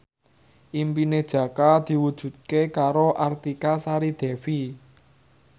impine Jaka diwujudke karo Artika Sari Devi